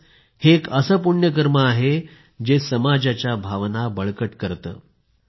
खरंच हे एक असे पुण्य कर्म आहे जे समाजाच्या भावना बळकट करते